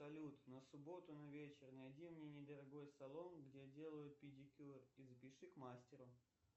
салют на субботу на вечер найди мне недорогой салон где делают педикюр и запиши к мастеру